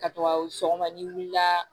Ka to ka sɔgɔma ni wulila